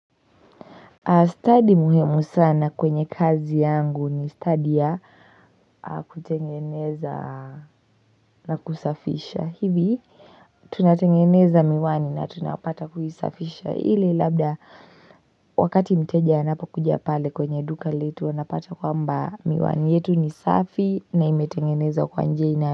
Study muhimu sana kwenye kazi yangu ni study ya kutengeneza na kusafisha, hivi tunatengeneza miwani na tunapata kuisafisha ili labda Wakati mteja anapokuja pale kwenye duka letu wanapata kwamba miwani yetu ni safi na imetengenezwa kwa njia inayo.